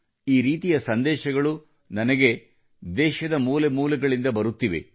ಈ ರೀತಿಯ ಸಂದೇಶಗಳು ನನಗೆ ದೇಶದ ಮೂಲೆ ಮೂಲೆಗಳಿಂದ ಬರುತ್ತಿವೆ